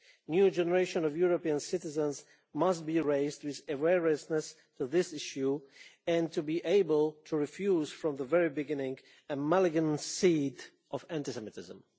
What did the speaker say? New generations of European citizens must be raised with awareness of this issue and be able to refuse from the very beginning the malign seed of anti Semitism.